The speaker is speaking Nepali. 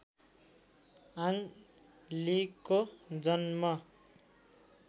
आङ लीको जन्म